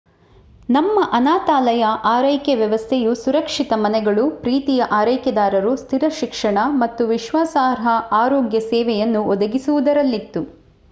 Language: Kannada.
ನಮ್ಮ ಅನಾಥಾಲಯ ಆರೈಕೆ ವ್ಯವಸ್ಥೆಯು ಸುರಕ್ಷಿತ ಮನೆಗಳು ಪ್ರೀತಿಯ ಆರೈಕೆದಾರರು ಸ್ಥಿರ ಶಿಕ್ಷಣ ಮತ್ತು ವಿಶ್ವಾಸಾರ್ಹ ಆರೋಗ್ಯ ಸೇವೆಯನ್ನು ಒದಗಿಸುವುದರಲ್ಲಿತ್ತು